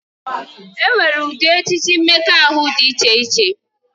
E nwere ụdị echiche mmekọahụ dị iche iche